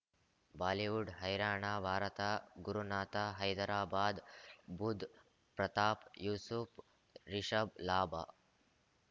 Bollywood ಹೈರಾಣ ಭಾರತ ಗುರುನಾಥ ಹೈದರಾಬಾದ್ ಬುಧ್ ಪ್ರತಾಪ್ ಯೂಸುಫ್ ರಿಷಬ್ ಲಾಭ